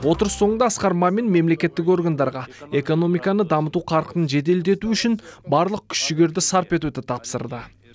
отырыс соңында асқар мамин мемлекеттік органдарға экономиканы дамыту қарқынын жеделдету үшін барлық күш жігерді сарп етуді тапсырды